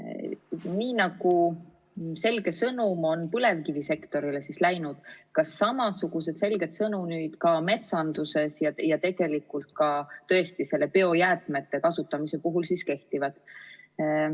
Nii nagu on põlevkivisektorile läinud selge sõnum, kas samasugused selged sõnumid kehtivad ka metsanduses ja biojäätmete kasutamise puhul?